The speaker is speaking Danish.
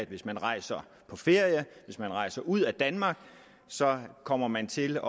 hvis man rejser på ferie hvis man rejser ud af danmark kommer man til